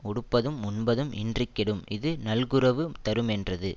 உடுப்பதும் உண்பதும் இன்றி கெடும் இது நல்குரவு தருமென்றது